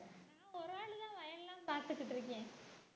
நான் ஒரு அழுத வயல்லாம் பார்த்துக்கிட்டு இருக்கேன்